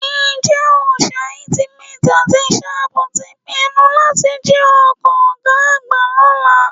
Ǹjẹ́ Òòṣà, Ultimate àti Shape ti pinnu láti jí ọkọ̀ ọ̀gá àgbà lọ́la?